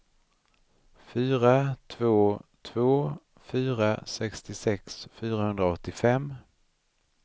fyra två två fyra sextiosex fyrahundraåttiofem